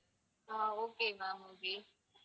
ah okay ma'am okay